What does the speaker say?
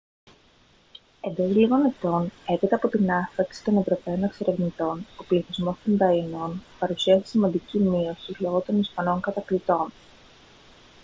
εντός λίγων ετών έπειτα από την άφιξη των ευρωπαίων εξερευνητών ο πληθυσμός των ταΐνων παρουσίασε σημαντική μείωση λόγω των ισπανών κατακτητών